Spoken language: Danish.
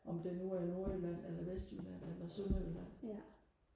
om det nu er nordjylland eller vestjylland eller sønderjylland